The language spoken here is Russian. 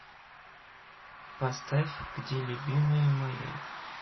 поставь где любимая моя